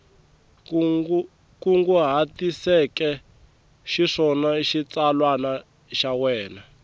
kunguhatiseke xiswona xitsalwana xa wena